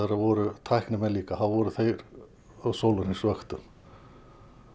voru tæknimenn líka þá voru þeir á sólahringsvöktum